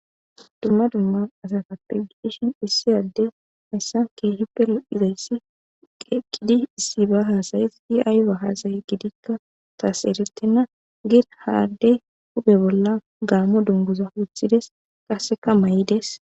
dumma dumman asatappegiishin issi addey hayssan keehi pe luizayssi qeqqidi issi ba haasayes i7aaya haasaye gidikka taas eretenna gir haaddey hupe bolla gaammo dunguza wuthides qasseka ma7ides